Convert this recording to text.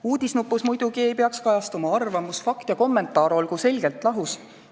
Uudisnupus muidugi ei peaks kajastuma arvamus, fakt ja kommentaar olgu selgelt lahus.